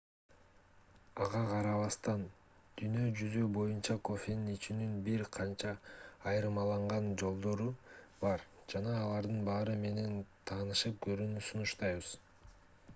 ага карабастан дүйнө жүзү боюнча кофени ичүүнүн бир канча айырмаланган жолдору бар жана алардын баары менен таанышып көрүүнү сунуштайбыз